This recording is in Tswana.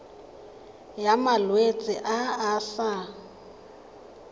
ya malwetse a a sa